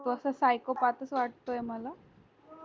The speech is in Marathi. तो अस say so path च वाटतोय मला